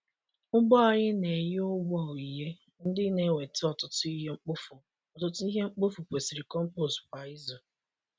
Ugbo anyị na-enye ụgwọ onyinye ndị na-eweta ọtụtụ ihe mkpofu ọtụtụ ihe mkpofu kwesịrị compost kwa izu.